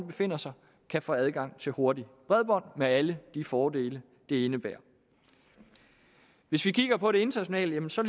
befinder sig kan få adgang til hurtigt bredbånd med alle de fordele det indebærer hvis vi kigger på det internationalt ser